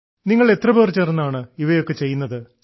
നിങ്ങൾ എത്ര പേർ ചേർന്നാണ് ഇവയൊക്കെ ചെയ്യുന്നത്